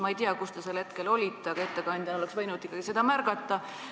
Ma ei tea, kus te sel hetkel olite, aga ettekandjana oleks võinud seda ikkagi märgata.